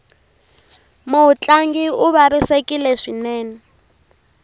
mutlangi u vavisekile swinene